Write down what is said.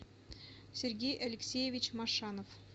сергей алексеевич машанов